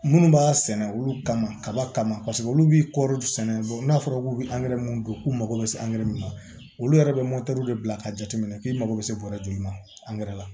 Minnu b'a sɛnɛ olu kama kaba kama paseke olu bi kɔri sɛnɛ n'a fɔra k'u bɛ min don k'u mago bɛ se angɛrɛ min ma olu yɛrɛ bɛ de bila k'a jateminɛ k'i mago bɛ se bɔrɛ joli ma la